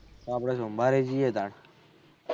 આપળે સોમવારે જયીયે તા